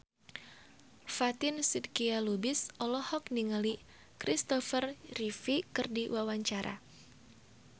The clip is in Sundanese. Fatin Shidqia Lubis olohok ningali Kristopher Reeve keur diwawancara